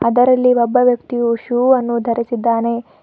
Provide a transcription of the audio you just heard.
ಅದರಲ್ಲಿ ಒಬ್ಬ ವ್ಯಕ್ತಿಯು ಶೋ ಅನ್ನು ಧರಿಸಿದ್ದಾನೆ.